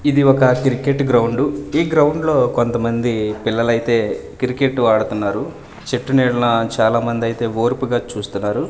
ఇది ఒక cricket ground ఈ గ్రౌండ్ లో కొంత మంది పిల్లలు అయితే క్రికెట్టు ఆడుతున్నారు చెట్టు నీడన చాలా మంది అయితే ఓర్పుగా చూస్తున్నారు.